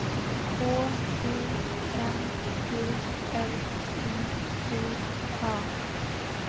K U N G L I G A